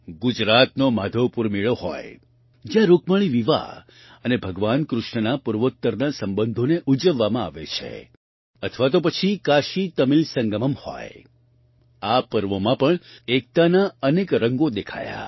ગુજરાતનો માધવપુર મેળો હોય જ્યાં રુક્મિણી વિવાહ અને ભગવાન કૃષ્ણના પૂર્વોત્તરના સંબંધોને ઉજવવામાં આવે છે અથવા તો પછી કાશીતમિલ સંગમમ્ હોય આ પર્વોમાં પણ એકતાના અનેક રંગો દેખાયા